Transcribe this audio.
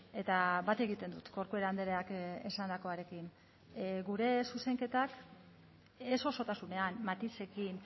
eta bat egiten dut corcuera andreak esandakoarekin gure zuzenketak ez osotasunean matizekin